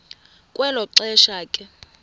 kwelo xesha ke